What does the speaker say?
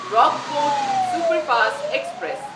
Rockfort superfast express